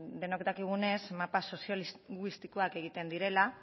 denok dakigunez mapa soziolinguistikoak egiten direla